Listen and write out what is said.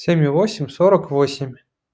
семью восемь сорок овсемь